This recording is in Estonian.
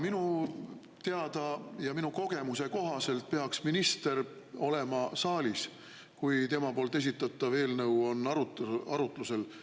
Minu teada ja minu kogemuse kohaselt peaks minister olema saalis, kui tema poolt esitatav eelnõu on arutlusel.